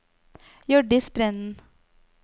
Hjørdis Brenden